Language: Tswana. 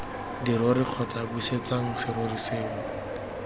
dirori kgotsa busetsa serori seo